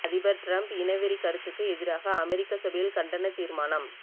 அதிபர் டிரம்ப் இனவெறி கருத்துக்கு எதிராக அமெரிக்க சபையில் கண்டன தீர்மானம்